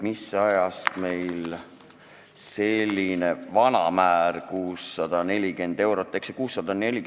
Mis ajast kehtib meil see vana määr, 640 eurot?